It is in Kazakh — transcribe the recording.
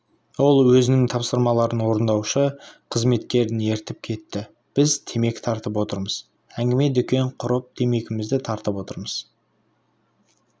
ол өзінің тапсырмаларын орындаушы қызметкерін ертіп кетті біз темекі тартып отырмыз әңгіме-дүкен құрып темекімізді тартып отырмыз